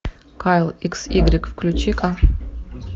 кайл икс игрек включи ка